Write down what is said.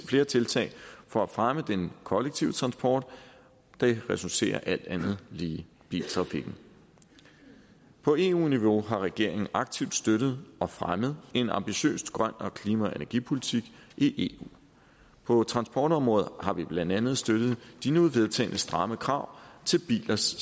flere tiltag for at fremme den kollektive transport det reducerer alt andet lige biltrafikken på eu niveau har regeringen aktivt støttet og fremmet en ambitiøs grøn klima og energipolitik i eu på transportområdet har vi blandt andet støttet de nu vedtagne stramme krav til bilers